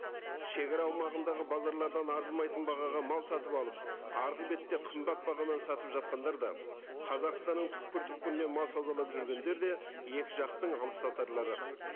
шегара аумағындағы базарлардан арзымайтын бағаға мал сатып алып арғы бетте қымбат бағамен сатып жатқандар да қазақстанның түпкір түпкірінен мал саудалап жүргендер де екі жақтың алыпсатарлары